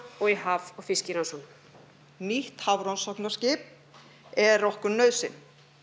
og í haf og fiskirannsóknum nýtt hafrannsóknaskip er okkur nauðsyn